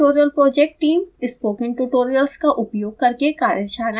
spoken tutorial project team: spoken tutorials का उपयोग करके कार्यशालाएं चलाती है